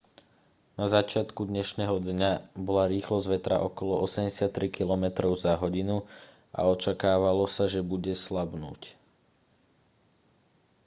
na začiatku dnešného dňa bola rýchlosť vetra okolo 83 km/h a očakávalo sa že bude slabnúť